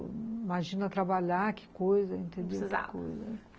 Imagina trabalhar, que coisa, entendeu? Precisava.